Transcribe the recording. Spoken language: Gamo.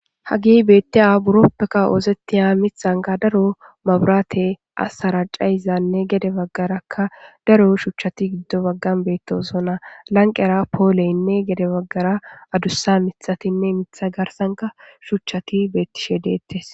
hagey beettiya buroppeka oosettiya mithanka daro maburaate assara cayizanne gede baggarakka daro shuchati giddo baggan beettoson ha lanqera pooleynne gede baggara adussa mithatinne mitha garsanka shuchchati beettishe deettes